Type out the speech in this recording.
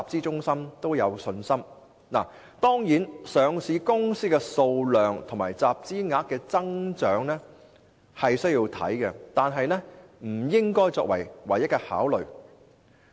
當然，他們須留意上市公司的數量及集資額的增長，但這些不應該是唯一的考慮。